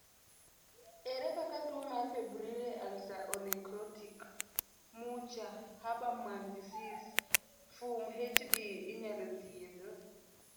ere kaka tuwo mar febrile ulceronecrotic Mucha Habermann disease (FUMHD) inyalo thiedh?